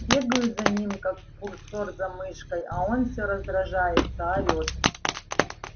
бегаю за ним как курсор за мышкой а он всё раздражается орёет